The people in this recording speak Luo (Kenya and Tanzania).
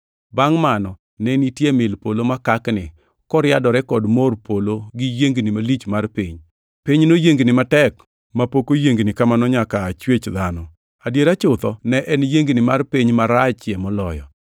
Bangʼ mano, ne nitie mil polo makakni, koriadore kod mor polo gi yiengni malich mar piny. Piny noyiengni matek mapok oyiengni kamano nyaka aa chwech dhano. Adiera chutho ne en yiengni mar piny, marachie moloyo.